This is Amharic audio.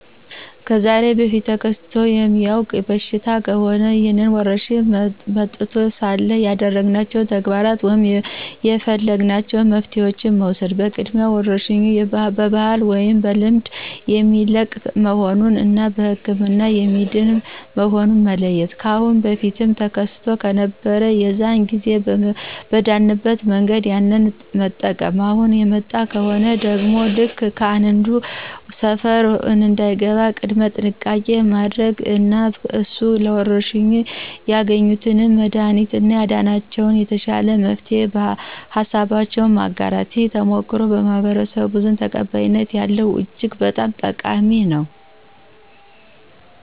ከዛሬ በፊት ተከስቶ የሚያውቅ በሽታ ከሆነ ይህ ወረርሽኝ መጥቶ ሳለ ያደረግናቸው ተግባራት ወይም የፈለግናቸው መፍትሄዋችን መውሰድ በቅድሚያ ወረርሽኙ በባህል ወይም በዘልማድ የሚለቅ መሆኑን እና በህክምና የሚድን መሆኑን መለየት። ካአሁን በፊት ተከስቶ ከነበር የዛን ጊዜ በዳንበት መንገድ ያንን መጠቅም፣ አሁን የመጣ ከሆነ ደግሞ ልክ ከአንዱ ሰፈር እንደገባ ቅድመ ጥንቃቄ ማድረግ እና እነሱ ለወረርሽኙ ያገኙትን መድሀኒት እና ያዳነላቸውን የተሻለ መፍትሄ ሀሳባቸውን ማጋራት። ይህ ተሞክሮ በማህበረስቡ ዘንድ ተቀባይነት ያለው እጅግ በጣም ጠቃሚ ነው።